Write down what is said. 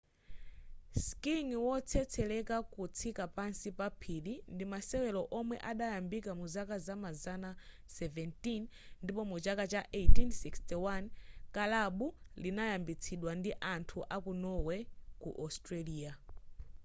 skiing wotsetsereka kutsika pansi pa phiri ndi masewero omwe adayambikira muzaka zamazana 17 ndipo muchaka cha 1861 kalabu linayambitsidwa ndi anthu aku norway ku australia